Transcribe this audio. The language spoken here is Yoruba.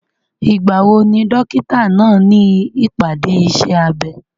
Ìgbà wo ni dókítà náà ní ìpàdé iṣẹ́ abẹ?